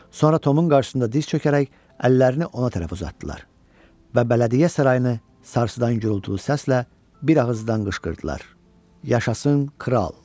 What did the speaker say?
Sonra Tomun qarşısında diz çökərək əllərini ona tərəf uzatdılar və Bələdiyyə Sarayını sarsıdan gürultulu səslə bir ağızdan qışqırdılar: Yaşasın kral!